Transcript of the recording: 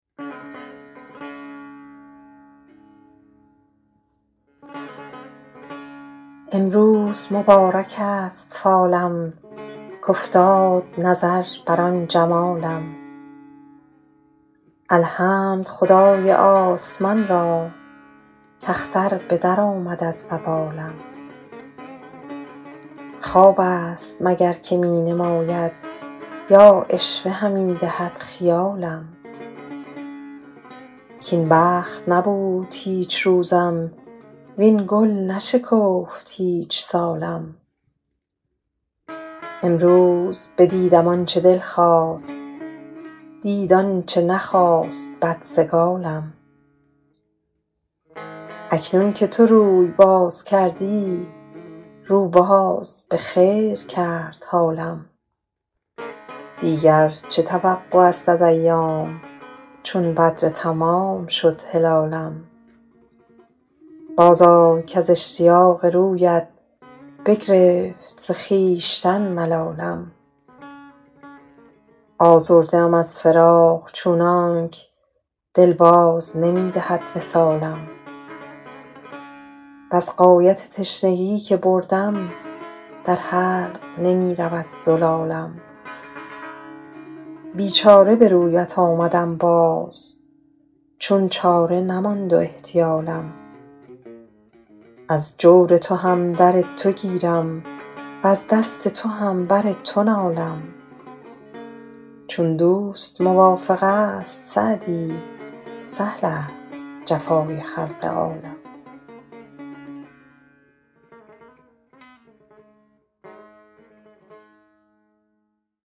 امروز مبارک است فالم کافتاد نظر بر آن جمالم الحمد خدای آسمان را کاختر به درآمد از وبالم خواب است مگر که می نماید یا عشوه همی دهد خیالم کاین بخت نبود هیچ روزم وین گل نشکفت هیچ سالم امروز بدیدم آن چه دل خواست دید آن چه نخواست بدسگالم اکنون که تو روی باز کردی رو باز به خیر کرد حالم دیگر چه توقع است از ایام چون بدر تمام شد هلالم بازآی کز اشتیاق رویت بگرفت ز خویشتن ملالم آزرده ام از فراق چونانک دل باز نمی دهد وصالم وز غایت تشنگی که بردم در حلق نمی رود زلالم بیچاره به رویت آمدم باز چون چاره نماند و احتیالم از جور تو هم در تو گیرم وز دست تو هم بر تو نالم چون دوست موافق است سعدی سهل است جفای خلق عالم